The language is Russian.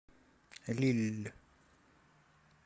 лилль